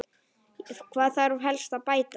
Hvað þarf helst að bæta?